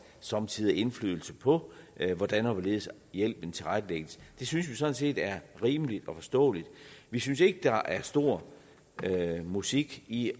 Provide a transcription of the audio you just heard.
somme tider indflydelse på hvordan og hvorledes hjælpen tilrettelægges det synes vi sådan set er rimeligt og forståeligt vi synes ikke der er stor musik i